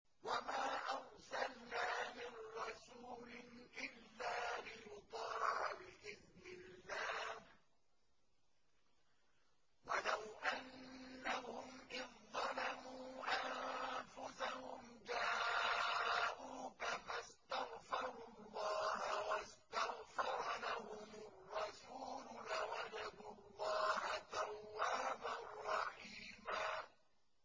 وَمَا أَرْسَلْنَا مِن رَّسُولٍ إِلَّا لِيُطَاعَ بِإِذْنِ اللَّهِ ۚ وَلَوْ أَنَّهُمْ إِذ ظَّلَمُوا أَنفُسَهُمْ جَاءُوكَ فَاسْتَغْفَرُوا اللَّهَ وَاسْتَغْفَرَ لَهُمُ الرَّسُولُ لَوَجَدُوا اللَّهَ تَوَّابًا رَّحِيمًا